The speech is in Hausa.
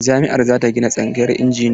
Jami'ar za ta gina tsangayar injiniya.